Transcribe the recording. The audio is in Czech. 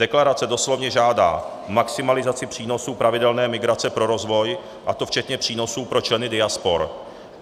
Deklarace doslovně žádá maximalizaci přínosu pravidelné migrace pro rozvoj, a to včetně přínosu pro členy diaspor.